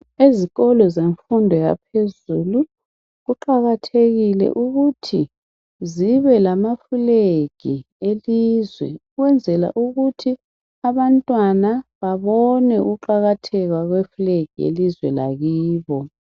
Ezikolo zemfundo yaphezulu, kuqakathekile ukuthi kubelamaflegi elizwe, ukwenzela ukuthi abantwana babone ukuqakatheka kwawo.